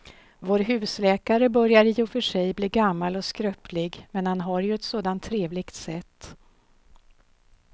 Vår husläkare börjar i och för sig bli gammal och skröplig, men han har ju ett sådant trevligt sätt!